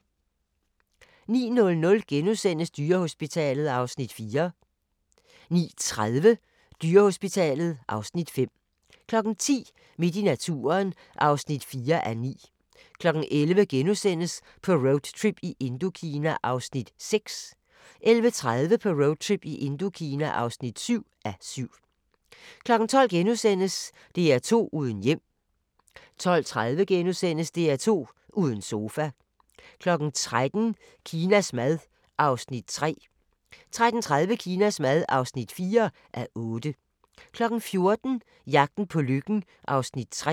09:00: Dyrehospitalet (Afs. 4)* 09:30: Dyrehospitalet (Afs. 5) 10:00: Midt i naturen (4:9) 11:00: På roadtrip i Indokina (6:7)* 11:30: På roadtrip i Indokina (7:7) 12:00: DR2 uden hjem * 12:30: DR2 uden sofa * 13:00: Kinas mad (3:8) 13:30: Kinas mad (4:8) 14:00: Jagten på lykken (3:8)